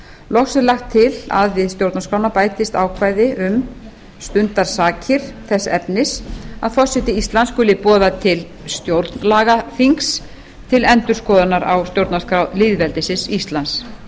loks er lagt til að við stjórnarskrána bætist ákvæði um stundarsakir þess efnis að forseti íslands skuli boða til stjórnlagaþings til endurskoðunar á stjórnarskrá lýðveldisins íslands